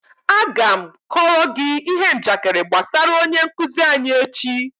Aga m kọọrọ gi ihe njakịrị gbasara onye nkuzi anyi echi